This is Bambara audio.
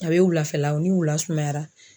A bɛ wulafɛla o ni wula sumayara.